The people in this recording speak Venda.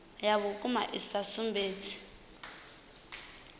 ya vhukuma i sa sumbedzi